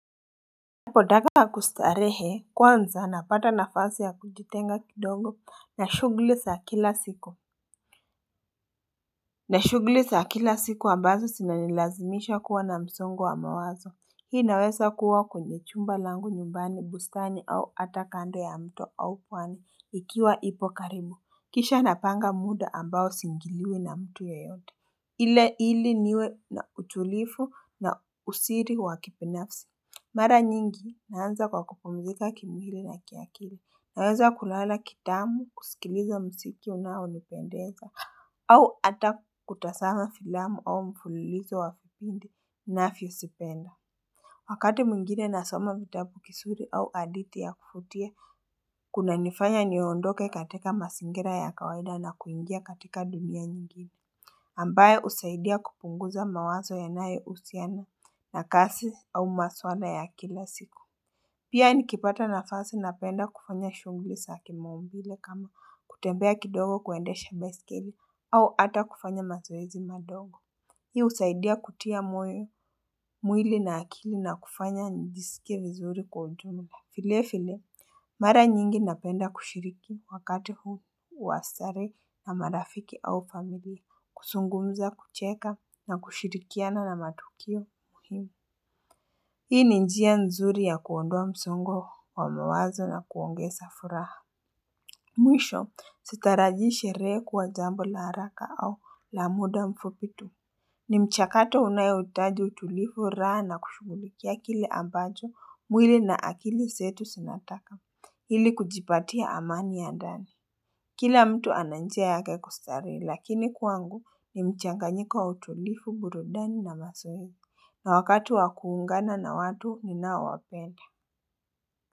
Napoendaga kustarehe kwanza napata nafasi ya kujitenga kidogo na shughuli za kila siku na shuguli za kila siku ambazo zinanilazimisha kuwa na msongo wa mawazo. Hii inaweza kuwa kwenye chumba langu nyumbani bustani au hata kando ya mto au pwani ikiwa ipo karibu Kisha napanga muda ambao siingiliwe na mtu ya yeyote ile ili niwe na utulivu na usiri wa kibinafsi Mara nyingi, naanza kwa kupumzika kimwili na kiakili, naweza kulala kitamu, kusikiliza mziki unaonipendeza, au hata kutazama filamu au mfulilizo wa kipindi inavyozipenda. Wakati mwingine nasoma vitabu kisuri au hadithi ya kufutia, kunanifanya niondoke katika masingira ya kawaida na kuingia katika dunia nyingine. Ambaye husaidia kupunguza mawazo yanayo husiana na kazi au masuala ya kila siku Pia nikipata nafasi napenda kufanya shughuli za kimaumbile kama kutembea kidogo kuendesha baskeli au hata kufanya mazoezi madogo. Hii husaidia kutia mwili na akili na kufanya njisike vizuri kwa ujumla vile vile Mara nyingi napenda kushiriki wakati huu wa starehe na marafiki au familia, kuzungumza, kucheka na kushirikiana na matukio muhimu. Hii ni njia nzuri ya kuondoa msongo wa mawazo na kuongeza furaha. Mwisho, sitaraji sherehe kuwa jambo la haraka au la muda mfupi tu. Ni mchakato unao hitaji utulifu raha na kushughulikia kili ambacho mwili na akili zetu zinataka. Ili kujipatia amani ya gari kila mtu ana njia yake ya kustarehe, lakini kwangu ni mchanganyiko wa utulifu burudani na mazoezi wakati wa kuungana na watu ninao wapenda.